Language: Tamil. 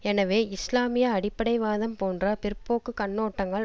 எனவே இஸ்லாமிய அடிப்படை வாதம் போன்ற பிற்போக்கு கண்ணோட்டங்கள்